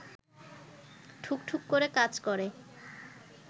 ঠুকঠুক করে কাজ করে